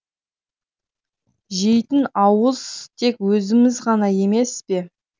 жейтін ауыз тек өзіміз ғана емес пе